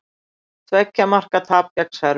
Tveggja marka tap gegn Serbum